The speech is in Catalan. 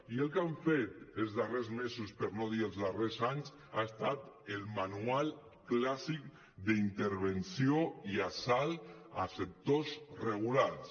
i el que han fet els darrers mesos per no dir els darrers anys ha estat el manual clàssic d’intervenció i assalt a sectors regulats